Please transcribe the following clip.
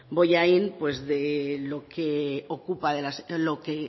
bollain de